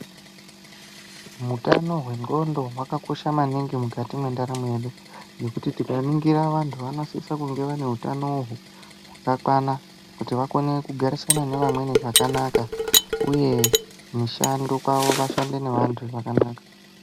Mutano hwendxondo hwakakosha maningi mukati mwendaramo yedu, ngekuti tikaningira vantu, vanosisa kunge vane utano hwakakwana kuti vakone kugarisana nevamweni zvakanaka uye, kumishando kwavo vashande nevantu zvakanaka.